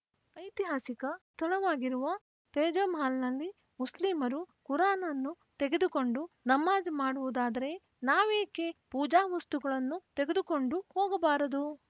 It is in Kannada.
ಐತಿಹಾಸಿಕ ಸ್ಥಳವಾಗಿರುವ ತೇಜೊ ಮಹಲ್‌ನಲ್ಲಿ ಮುಸ್ಲಿಮರು ಕುರಾನ್‌ ಅನ್ನು ತೆಗೆದುಕೊಂಡು ನಮಾಜ್‌ ಮಾಡುವುದಾದರೆ ನಾವೇಕೆ ಪೂಜಾ ವಸ್ತುಗಳನ್ನು ತೆಗೆದುಕೊಂಡು ಹೋಗಬಾರದು